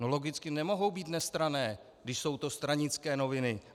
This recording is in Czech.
No logicky nemohou být nestranné, když jsou to stranické noviny.